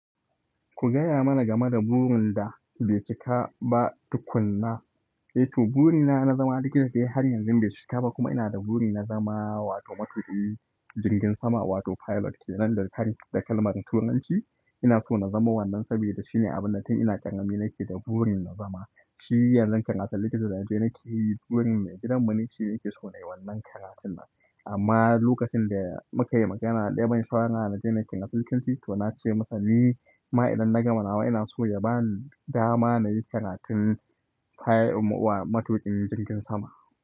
Ku gaya mana game da burin da bai cika ba tukunna. To, burina na zama likita dai har yanzu bai cika ba kuma ina da buri na zama wato matuƙin jirgin sama wato pilot kenan da karin da kalmar Turanci. Ina so na zama wannan saboda shine abinda tun ina ƙarami nake da burin na zama. Shi yanzun karatun likita da naje nakeyi burin mai gidanmu ne shine yake so na yi wannan karatun nan. Amma lokacin da muka yi magana daya ban shawara naje nayi Apto na ce masa ni ma idan na gama nawa ina so ya ba ni dama na yi karatun pi wa matuƙin jirgin sama.